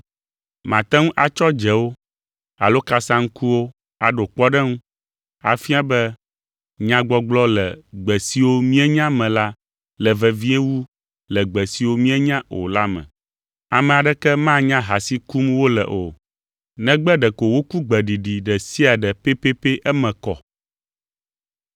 Mate ŋu atsɔ dzewo alo kasaŋkuwo aɖo kpɔɖeŋu, afia be nyagbɔgblɔ le gbe siwo míenya me la le vevie wu le gbe siwo míenya o la me. Ame aɖeke manya ha si kum wole o, negbe ɖeko woku gbeɖiɖi ɖe sia ɖe pɛpɛpɛ eme kɔ.